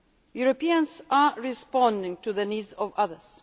aid. Europeans are responding to the needs of